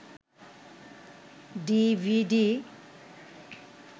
DVD